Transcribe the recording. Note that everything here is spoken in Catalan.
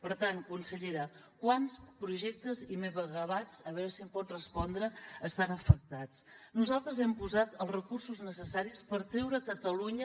per tant consellera quants projectes i megawatts a veure si em pot respondre estan afectats nosaltres hem posat els recursos necessaris per treure catalunya